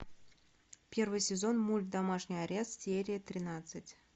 первый сезон мульт домашний арест серия тринадцать